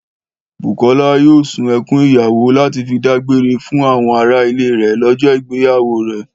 Bùkọ́lá yóò sun ẹkún ìyàwó lati fi dágbére fún àwọn ará ilé rẹ̀ lọ́jọ́ ìgbéyàwó rẹ̀